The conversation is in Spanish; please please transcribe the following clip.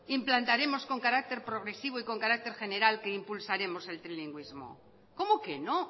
implantaremos con carácter progresivo y con carácter general que impulsaremos el trilingüismo cómo que no